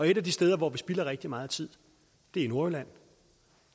et af de steder hvor vi spilder rigtig meget tid er i nordjylland